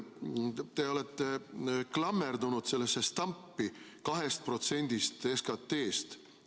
Te olete klammerdunud sellesse stampi 2% SKT-st.